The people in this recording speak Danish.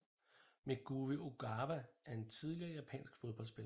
Megumi Ogawa er en tidligere japansk fodboldspiller